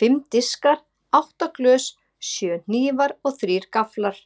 Fimm diskar, átta glös, sjö hnífar og þrír gafflar.